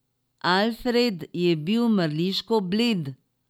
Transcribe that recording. Alfred je bil mrliško bled.